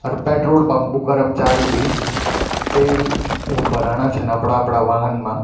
अर petrol pump कु कर्मचारी भी तेल उ भराणा छन अपड़ा अपड़ा वाहन मा।